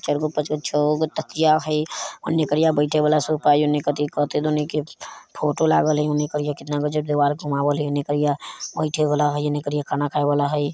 तीनो पांचो छेगो का तकिया हई उन्ने करिया बइठे वाला सोफा हई उन्ने कईथी के फोटो लगल हई।